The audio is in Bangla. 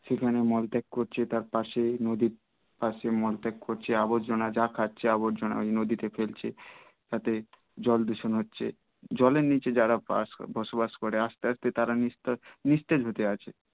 সেখানে মোল ত্যাগ করছে তার পাশে নদী পাশে মল ত্যাগ করছে আবর্জনা যা খাচ্ছে ওই নদীতে ফেলছে তাতে জল দূষণ হচ্ছে জলের নিচে যারা বাস বসবাস করে আস্তে আস্তে তারা নি~নিস্তেজ হতে আছে